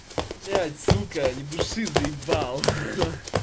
блядь сука ни души заебал ха ха